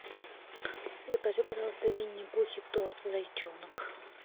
закажи пожалуйста в винни пухе торт зайчонок